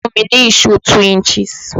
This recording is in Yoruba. Fún mi ní ìṣó 2 inches!